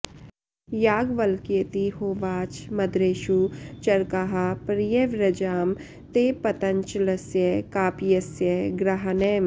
याज्ञवल्क्येति होवाच मद्रेषु चरकाः पर्यव्रजाम ते पतञ्चलस्य काप्यस्य गृहानैम